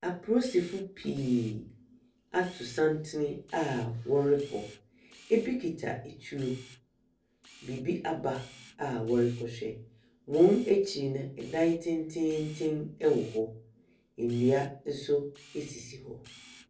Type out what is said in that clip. Apolisifo pii ato santene a wɔrekɔ, bi kita atuo. Biribi aba a wɔrekɔhwɛ. Wɔn akyi no, dan tententen wɔ hɔ,, nnua nso sisi hɔ.